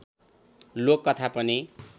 लोक कथा पनि